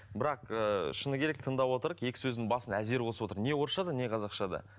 бірақ ыыы шыны керек тыңдап отыр екі сөздің басын әзер қосып отыр не орысшада не қазақшада